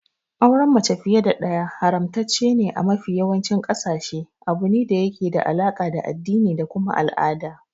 Auren mace fiye da ɗaya haramtaccene a mafi yawancin ƙasashe, abune da yake da alaka da addini da kuma al'ada.